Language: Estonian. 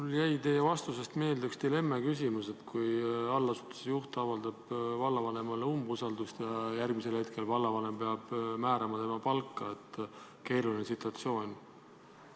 Mulle jäi teie vastusest meelde üks dilemmaküsimus: kui allasutuse juht avaldab vallavanemale umbusaldust ja järgmisel hetkel vallavanem peab määrama tema palka, et see on keeruline situatsioon.